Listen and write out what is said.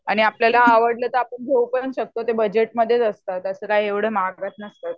आणि आपल्याला आवडलं तर आपण घेऊ पण शकतो ते बजेटमधेच असतात असं काही एवढे महाग पण नसतात.